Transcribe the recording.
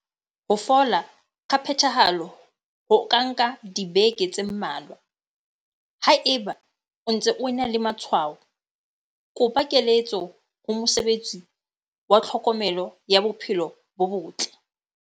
Ho fola ka phethahalo ho ka nka dibeke tse mmalwa. Haeba o ntse o ena le matshwao, kopa keletso ho mosebetsi wa tlhokomelo ya bophelo bo botle.